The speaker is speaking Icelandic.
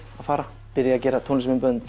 að fara byrja að gera tónlistarmyndbönd